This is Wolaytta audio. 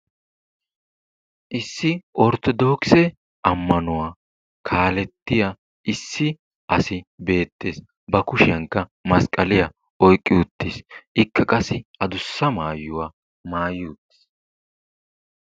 Issi orttodookisse ammanuwa kaalettiya issi asi beettees, ba kushiyankka masqqaliya oyqqi uttiis. Ikka qassi addussa maayuwa maayi uttiis.